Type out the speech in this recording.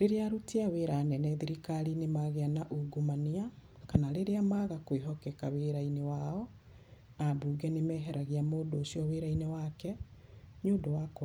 Rĩrĩa aruti wĩra anene athirikari-inĩ magĩa na ungumania, kana rĩrĩa magakwĩhokeka wĩra-inĩ wao, ambuge nĩmeheragia mũndũ ũcio wĩra-inĩ wake nĩ ũndũ wakwaga..